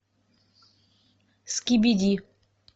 скибиди